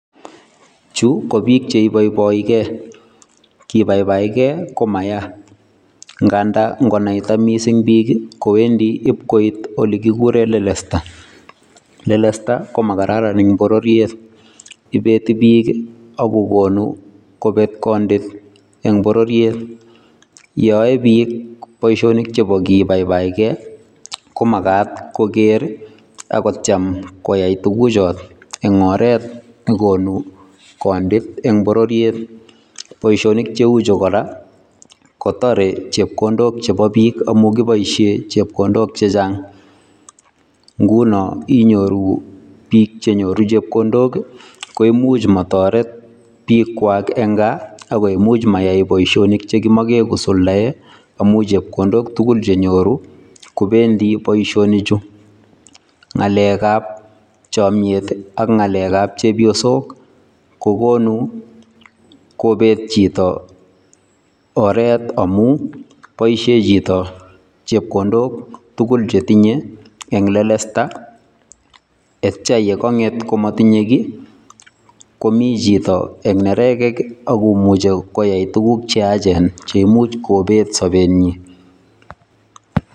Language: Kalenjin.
Chuu ko biik cheboiboike, kibaibaikee komayaa ng'andan ng'onaita mising biik koendi iib koit olekikuren lelesta, lelesta ko makararan eng bororiet, ibeti biik ak kokonu kobet kondit en bororiet yoon yoe biikk boishonik chebo kibaibaitkee komakat koker ak kotiem koyai tukucho eng' oreet nekonu kondit en bororiet, boishonik cheuchu kora kotore chepkondok chebo biik amun kiboishen chepkondok chechang, ng'unon inyoru biik chenyoru chepkondok koimuch motoret biikwak en kaa ak ko imuch mayai boishonik chekimokee kosuldae amuun chepkondok tukul chenyoru kobendi boishonichu, ng'alekab chomnyet ak ng'alekab chebiosok kokonu kobeet chito oreet amun boishen chito chepkondok tukul chetinye en lelesta ak kityo kong'et komotinye kii komii chito en nerekek ak komuche koyai tukuk cheyachen cheimuch kobeet sobenyin.